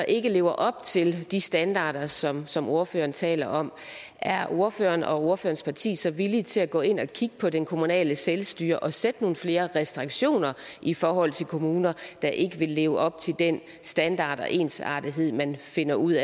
ikke lever op til de standarder som som ordføreren taler om er ordføreren og ordførerens parti så villige til at gå ind og kigge på det kommunale selvstyre og sætte nogle flere restriktioner i forhold til kommuner der ikke vil leve op til den standard og ensartethed man finder ud